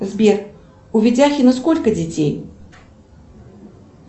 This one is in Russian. сбер у ведяхина сколько детей